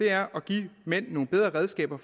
er at give mænd nogle bedre redskaber